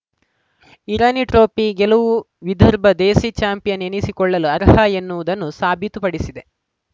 Irani trophy ಗೆಲುವು ವಿದರ್ಭ ದೇಸಿ champion ಎನಿಸಿಕೊಳ್ಳಲು ಅರ್ಹ ಎನ್ನುವುದನ್ನು ಸಾಬೀತು ಪಡಿಸಿದೆ